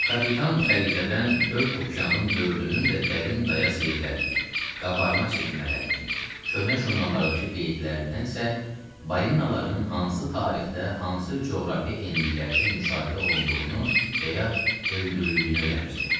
Kapitan xəritədən dörd okeanın dördünün də dərin-dayaz yerlərini, qabarma-çəkilmələrini, köhnə jurnallardakı qeydlərindən isə balinaların hansı tarixdə, hansı coğrafi enliklərdə müşahidə olunduğunu və ya öldürüldüyünü öyrənirdi.